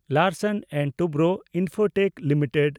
Larsen and Toubro limited